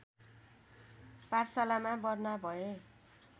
पाठशालामा भर्ना भए